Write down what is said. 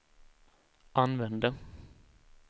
använde